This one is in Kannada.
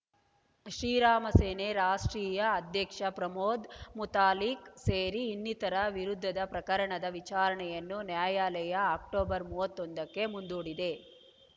ಶ್ರೀರಾಮಸೇನೆ ರಾಷ್ಟ್ರೀಯ ಅಧ್ಯಕ್ಷ ಪ್ರಮೋದ್‌ ಮುತಾಲಿಕ್‌ ಸೇರಿ ಇನ್ನಿತರ ವಿರುದ್ಧದ ಪ್ರಕರಣದ ವಿಚಾರಣೆಯನ್ನು ನ್ಯಾಯಾಲಯ ಅಕ್ಟೋಬರ್ ಮೂವತ್ತೊಂದಕ್ಕೆ ಮುಂದೂಡಿದೆ